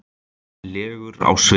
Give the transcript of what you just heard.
legur á svip.